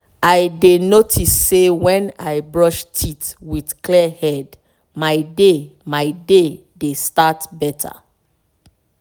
i dey notice say when i brush teeth with clear head my day my day dey start better.